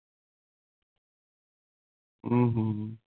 हम्म हम्म